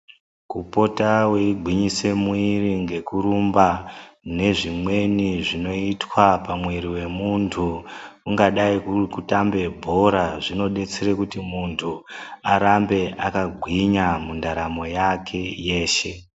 Kupota wei ngwise mwiri ngeku rumba ne zvimweni zvino itwa pa mwiri we muntu kunga dai kuri kutambe bhora zvino detsere kuti muntu arambe aka ngwinya mundaramo yake yeshe.